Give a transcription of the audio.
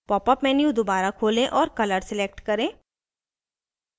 popअप menu दोबारा खोलें और color select करें